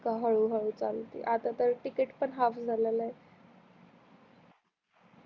हळू हळू चालते आता तर तिकीट पन हाल्फ झाल आहे